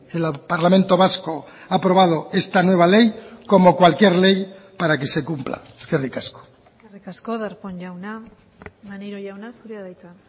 el parlamento vasco ha aprobado esta nueva ley como cualquier ley para que se cumpla eskerrik asko eskerrik asko darpón jauna maneiro jauna zurea da hitza